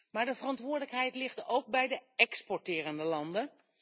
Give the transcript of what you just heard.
Maar de verantwoordelijkheid ligt ook bij de exporterende landen.